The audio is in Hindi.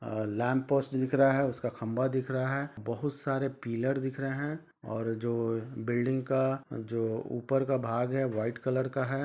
और दिख रहा है उसका खम्बा दिख रहा है बहुत सारे पिलर दिख रहा है और जो बिल्डिग का जो ऊपर का भाग है वाइट कलर का है ।